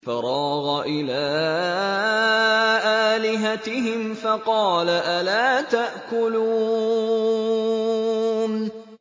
فَرَاغَ إِلَىٰ آلِهَتِهِمْ فَقَالَ أَلَا تَأْكُلُونَ